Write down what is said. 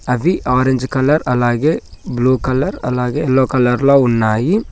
అది orange colour అలాగే blue colour అలాగే బ్లూ కలర్ లో ఉన్నాయి.